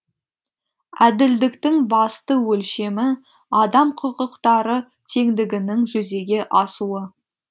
әділдіктің басты өлшемі адам құқықтары теңдігінің жүзеге асуы